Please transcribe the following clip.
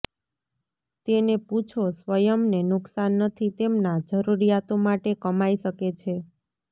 તેને પૂછો સ્વયંને નુકસાન નથી તેમના જરૂરિયાતો માટે કમાઈ શકે છે